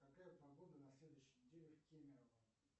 какая погода на следующей неделе в кемерово